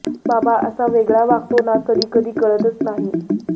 बाबा असा वेगळा वागतो ना कधी कधी कळतच नाही